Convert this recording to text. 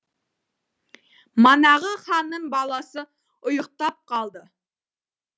манағы ханның баласы ұйықтап қалды